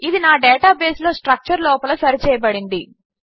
ఇది నా డేటాబేస్లో స్ట్రక్చర్ లోపల సరిచేయబడింది